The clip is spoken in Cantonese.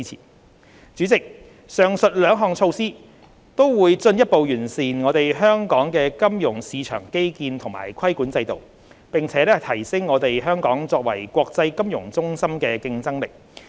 代理主席，上述兩項措施均會進一步完善香港的金融市場基建和規管制度，並提升香港作為國際金融中心的競爭力。